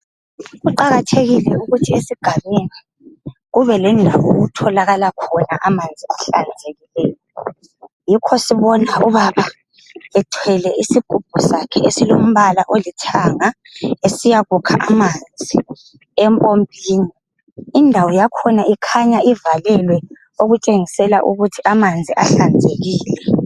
Kuqakathekile ukuthi esigabeni, kubelandawo'kutholakala khona amanzi ahlanzekileyo. Yikho sibona ubaba ethwele isigubhu sakhe esilombala olithanga. Esiyakukha amanzi empompini. Indawo yakhona ikhanya ivalelwe okutshengisela ukuthi amanzi ahlanzekile.